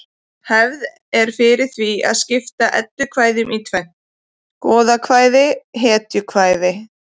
Hefð er fyrir því að skipta eddukvæðum í tvennt: goðakvæði hetjukvæði